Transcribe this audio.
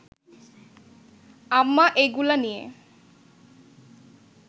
আম্মা এইগুলা নিয়া